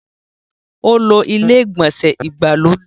Ó lo ilé-ìgbọ̀nsẹ̀ ìgbàlódé.